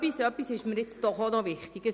Etwas ist mir aber noch wichtig;